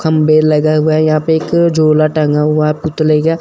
खम्बे लगा हुआ है यहां पे एक झोला टंगा हुआ है पुतले का--